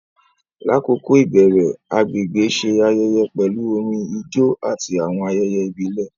Lakoko ibẹrẹ, agbegbe ṣe ayẹyẹ pẹlu orin, ijó, ati awọn ayẹyẹ ibile.